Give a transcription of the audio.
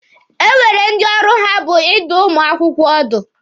E nwere ndị ọrụ ha bụ ịdụ ụmụ akwụkwọ ọdụ.